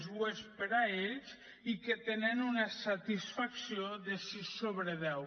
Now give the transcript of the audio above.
ho és per a ells i que tenen una satisfacció de sis sobre deu